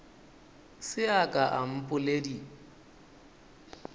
se a ka a mpoledi